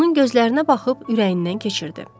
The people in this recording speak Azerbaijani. Onun gözlərinə baxıb ürəyindən keçirdi.